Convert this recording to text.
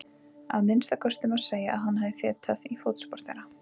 Að minnsta kosti má segja að hann hafi fetað í fótspor þeirra.